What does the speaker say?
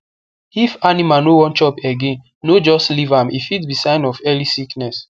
if animal no wan chop again no just leave am e fit be sign of early sickness